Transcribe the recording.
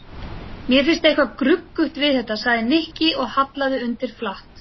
Mér finnst eitthvað gruggugt við þetta sagði Nikki og hallaði undir flatt.